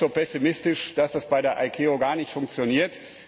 Ich bin nicht so pessimistisch, dass das bei der ICAO gar nicht funktioniert.